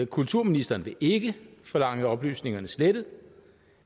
kulturministeren vil ikke forlange oplysningerne slettet